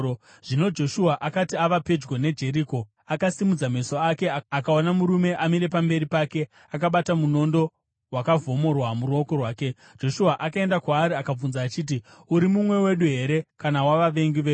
Zvino Joshua akati ava pedyo neJeriko, akasimudza meso ake akaona murume amire pamberi pake akabata munondo wakavhomorwa muruoko rwake. Joshua akaenda kwaari akabvunza achiti, “Uri mumwe wedu here kana wavavengi vedu?”